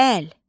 Əl.